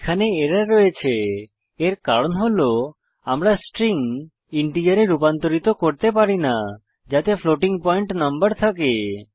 সেখানে এরর রয়েছে এর কারণ হল আমরা স্ট্রিং ইন্টিজারে রুপান্তরিত করতে পারি না যাতে ফ্লোটিং পয়েন্ট নম্বর থাকে